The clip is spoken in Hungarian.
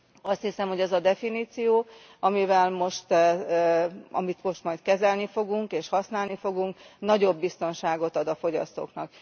Azt hiszem, hogy ez a definíció, amit most majd kezelni fogunk, használni fogunk, nagyobb biztonságot ad a fogyasztóknak.